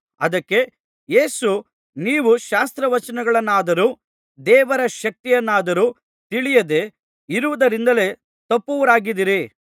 ಅದಕ್ಕೆ ಯೇಸು ನೀವು ಶಾಸ್ತ್ರವಚನಗಳನ್ನಾದರೂ ದೇವರ ಶಕ್ತಿಯನ್ನಾದರೂ ತಿಳಿಯದೆ ಇರುವುದರಿಂದಲೇ ತಪ್ಪುವವರಾಗಿದ್ದೀರಿ